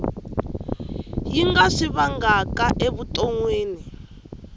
yi nga swi vangaka evuton